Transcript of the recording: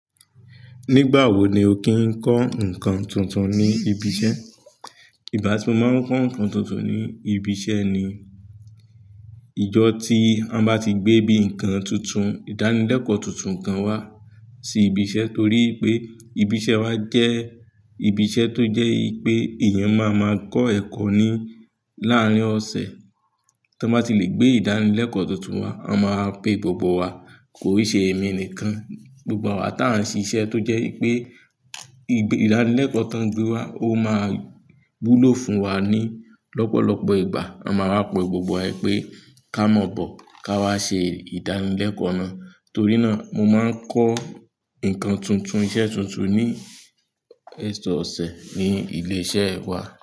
Nígbà wo ni o kí ń kọ́ nǹkan tuntun ní ibi iṣẹ́? Ìbá tu mo máa ń kọ́ nǹkan tuntun ní ibi iṣẹ́ ni ìjọ́ tí a bá ti gbé bíi nǹkan tuntun, ìdánilẹ́kọ̀ọ́ tuntun kan wá sí ibi iṣẹ́ torí pé ibi iṣẹ́ wa jẹ́ ibi iṣẹ́ tó jẹ́ pé èèyàn máa máa máa kọ́ ẹ̀kọ́ ni láàárín ọ̀sẹ̀. Tí wọ́n bá ti lè gbé ìdánilẹ́kọ̀ọ́ tuntun wá, a máa pè gbogbo wa, ko i ṣe èmi nìkan, gbogbo wa tí a ń ṣe iṣẹ́ tó jẹ́ wipé ìdánilẹ́kọ̀ọ́ tó ń gbé wá ó máa wúlò fún wa ní lọ́pọ̀lọpọ̀ ìgbà. A máa wá pe gbogbo wa pé ká mọ̀ bó ká wá ṣe ìdánilẹ́kọ̀ọ́ náà. Torí náà mo máa ń kọ́ nǹkan tuntun iṣẹ́ tuntun ní ọ̀sẹ̀ ní ilé iṣẹ́ wa.